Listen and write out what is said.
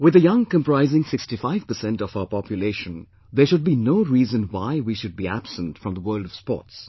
With the young comprising 65% of our population, there should be no reason why we should be absent from the world of sports